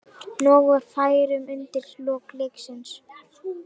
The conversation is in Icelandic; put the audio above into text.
Nóg var færum undir lok leiksins.